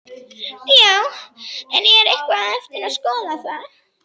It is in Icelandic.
Já, en er eitthvað eftir að skoða þar?